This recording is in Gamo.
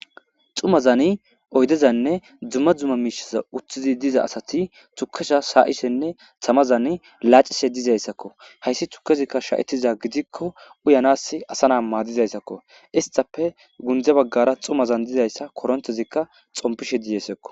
Xumazani oydezanne dzumma dzumma miishaza uttizi diza asati tukesha sa'ishenne tamazani laacishe dizayssakko hayssi tukezikka sha'etiza gidikko uyanas asana maadizayssako istape gunde baggara xumazan dizayssa korontezikka xompishe dizaysiko